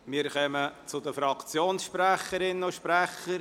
Wir kommen zu den Fraktionssprecherinnen und -sprechern.